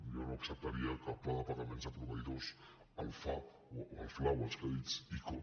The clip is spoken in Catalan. jo no ac·ceptaria que el pla de pagaments a proveïdors el fla o els crèdits ico